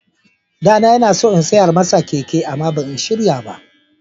Ɗana yana so in saya masa keke amma ban shirya ba.